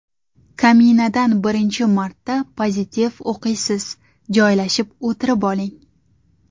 Kaminadan birinchi marta pozitiv o‘qiysiz, joylashib o‘tirib oling.